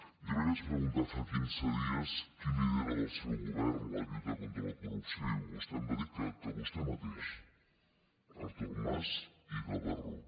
jo li vaig preguntar fa quinze dies qui lidera del seu govern la lluita contra la corrupció i vostè em va dir que vostè mateix artur mas i gavarró